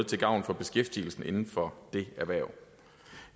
til gavn for beskæftigelsen inden for det erhverv